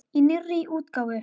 Í nýrri útgáfu!